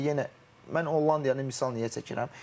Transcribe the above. Misal üçün indi yenə mən Hollandiyanı misal niyə çəkirəm?